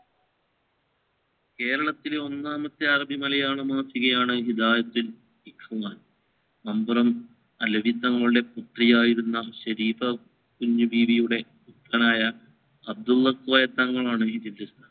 കേരളത്തിലെ ഒന്നാമത്തെ അറബി മലയാളം മലയാളം മാസികയാണ് ഹിദായത്തുൽ റഹ്‌മാൻ മമ്പുറം പുത്രിയായിരുന്ന ഷെരീഫ കുഞ്ഞുബീവിയുടെ ആകാനായ അബ്ദുല്ല കോയമ്മ തങ്ങലാണ് ഈ